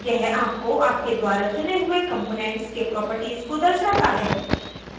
यह आपको आपके द्वारा चुने हुए components के properties को दर्शाता है